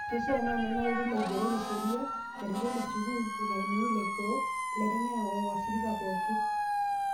Keishaa na ena neretu loigerr sheria, ilarikok le sukuul, irmalimuni ilaikook, ilaiteng'enak owashirika pookin.